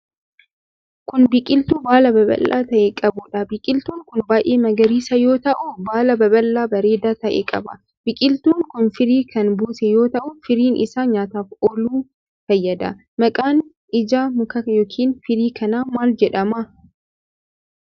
Kun, biqiltuu baala babal'aa ta'e qabuu dha. Biqiltuun kun baay'ee magariisa yoo ta'u ,baala babal'aa bareedaa ta'e qaba. Biqiltuun kun firii kan buuse yoo ta'u ,firiin isaa nyaataaf ooluf fayyada. Maqaan ija mukaa yokin firii kanaa maal jedhama?